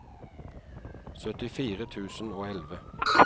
syttifire tusen og elleve